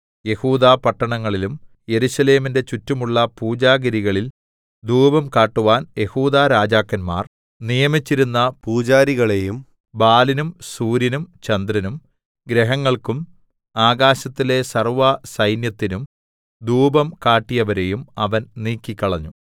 യെഹൂദാപട്ടണങ്ങളിലും യെരൂശലേമിന്റെ ചുറ്റുമുള്ള പൂജാഗിരികളിൽ ധൂപം കാട്ടുവാൻ യെഹൂദാരാജാക്കന്മാർ നിയമിച്ചിരുന്ന പൂജാരികളെയും ബാലിനും സൂര്യനും ചന്ദ്രനും ഗ്രഹങ്ങൾക്കും ആകാശത്തിലെ സർവ്വസൈന്യത്തിനും ധൂപം കാട്ടിയവരെയും അവൻ നീക്കിക്കളഞ്ഞു